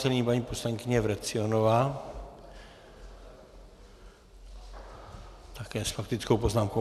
Nyní paní poslankyně Vrecionová, také s faktickou poznámkou.